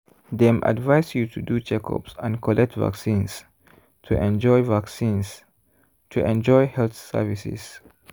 dem advise you to do checkups and collect vaccines to enjoy vaccines to enjoy health services.